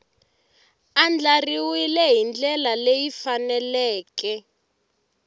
andlariwile hi ndlela leyi faneleke